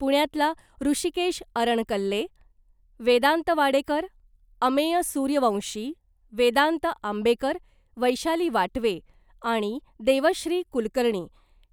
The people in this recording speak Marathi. पुण्यातला ऋषिकेश अरणकल्ले , वेदांत वाडेकर , अमेय सुर्यवंशी , वेदांत आंबेकर , वैशाली वाटवे आणि देवश्री कुलकर्णी